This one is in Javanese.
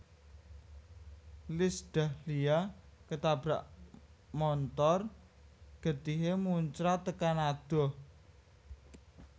Iis Dahlia ketabrak montor getihe muncrat tekan adoh